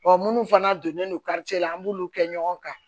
munnu fana donnen don la an b'olu kɛ ɲɔgɔn kan